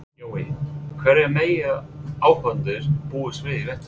Jói, hverju mega áhorfendur búast við í vetur?